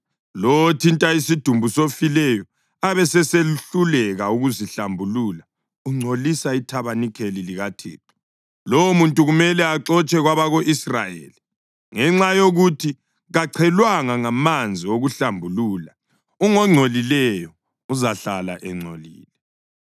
Lowo othinta isidumbu sofileyo abesesehluleka ukuzihlambulula ungcolisa ithabanikeli likaThixo. Lowomuntu kumele axotshwe kwabako-Israyeli. Ngenxa yokuthi kachelwanga ngamanzi okuhlambulula, ungongcolileyo; uzahlala engcolile.